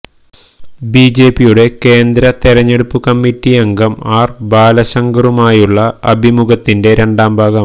ബിജെപിയുടെ കേന്ദ്ര തെരഞ്ഞെടുപ്പ് കമ്മിറ്റി അംഗം ആര് ബാലശങ്കറുമായുള്ള അഭിമുഖത്തിൻ്റെ രണ്ടാം ഭാഗം